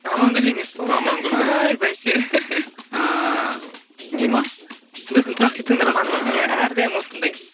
амангүл емес пе осы амангүл ғой ай бәсе ааа не ма біздің тұрақты тыңдарманымыз иә әрдайым осындай